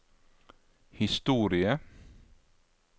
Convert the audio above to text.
historie